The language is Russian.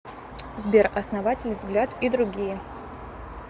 сбер основатель взгляд и другие